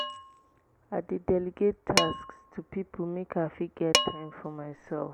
i dey delegate tasks to pipo make i fit get time for mysef.